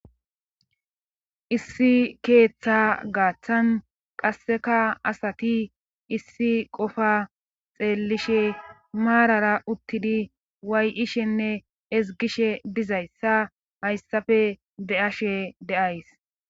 Issi keeththa gaaththan qasseka asati issi qofa xeellishe maarara uttidi way7ishenne ezgishe dizayssa hayssafe be7ashe de'ays.